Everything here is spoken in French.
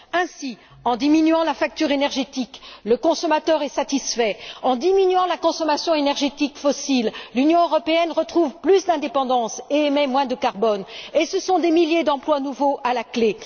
Ainsi, en diminuant la facture énergétique, le consommateur est satisfait. En diminuant la consommation énergétique fossile, l'Union européenne retrouve plus d'indépendance et émet moins de carbone, et ce sont des milliers d'emplois nouveaux à la clé.